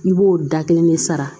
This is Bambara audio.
I b'o da kelen de sara